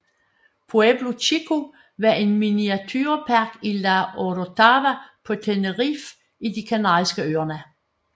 Pueblo Chico var en miniaturepark i La Orotava på Tenerife i De kanariske øer